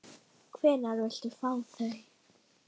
Hvenær viltu fá þau?